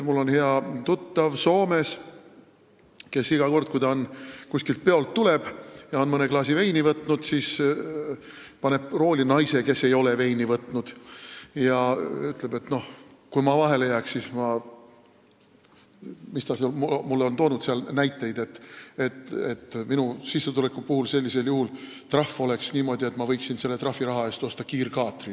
Mul on hea tuttav Soomes, kes iga kord, kui ta peolt tuleb ja on mõne klaasi veini võtnud, paneb rooli naise, kes ei ole veini võtnud, ja ütleb, et kui ta vahele jääks – ta on mulle toonud näiteid –, siis tema sissetuleku tõttu oleks trahv selline, et ta võiks trahviraha eest osta näiteks kiirkaatri.